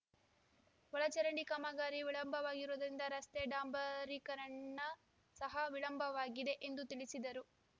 ಒಳಚರಂಡಿ ಕಾಮಗಾರಿ ವಿಳಂಬವಾಗಿರುವುದರಿಂದ ರಸ್ತೆ ಡಾಂಬರೀ ಕರಣ ಸಹ ವಿಳಂಬವಾಗಿದೆ ಎಂದು ತಿಳಿಸಿದರು